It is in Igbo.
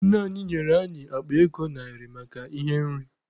Nna anyị nyere anyị akpa ego narị maka ihe nri.